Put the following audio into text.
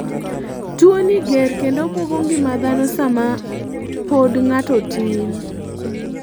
tuo ni ger kendo buogo ngima dhano sama pod ng'ato tin